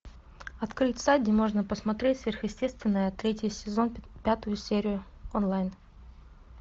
открыть сайт где можно посмотреть сверхъестественное третий сезон пятую серию онлайн